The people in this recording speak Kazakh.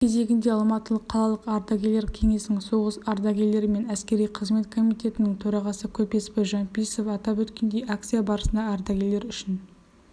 өз кезегінде алматылық қалалық ардагерлер кеңесінің соғыс ардагерлері мен әскери қызмет комитетінің төрағасы көпесбай жампиисов атап өткендей акция барысында ардагерлер үшін